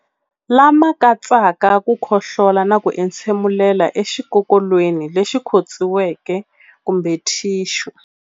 Lama katsaka ku khohlola na ku entshemulela exikokolweni lexi khotsiweke kumbe thixu.